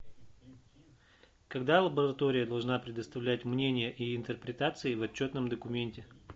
когда лаборатория должна предоставлять мнения и интерпретации в отчетном документе